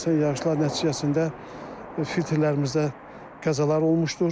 Əsasən yağışlar nəticəsində filtrlərimizdə qəzalar olmuşdur.